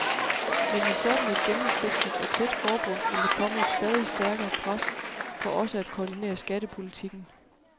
Men i sådan et gennemsigtigt og tæt forbund vil der komme et stadig stærkere pres for også at koordinere skattepolitikken.